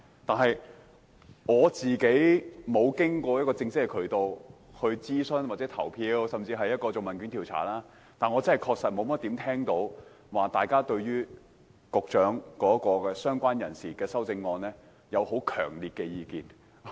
雖然我沒有參與正式的諮詢，或問卷調查，但我確實沒有怎麼聽到大家對局長提出有關"相關人士"的修正案抱持強烈的意見。